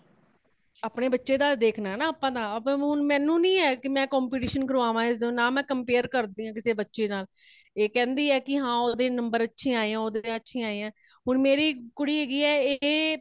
ਆਪਣੇ ਬੱਚੇ ਦਾ ਦੇਖਣਾ ਹੇ ਆਪਾ ਤਾ ਆਪਾ ਹੁਣ ਮੈਨੂੰ ਨਹੀਂ ਹੇ ਕੀ ਮੈ competition ਕਰਵਾਵਾਂ ਇਸਦਾ ਨਾ ਮੈ compare ਕਰਦੀ ਹਾ ਕਿਸੇ ਬੱਚੇ ਨਾਲ ,ਇਹ ਕੇਂਦੀ ਹੇ ਕੀ ਉਦ੍ਹੇ number ਅੱਛੇ ਆਏ ਹੇ ,ਉਦ੍ਹੇ ਅੱਛੇ ਆਏ ਹੇ ਹੁਣ ਮੇਰੀ ਕੁੜੀ ਹੇਗੀ ਹੇ ਇਹ ਮ